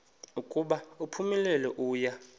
ukuba uphumelele uya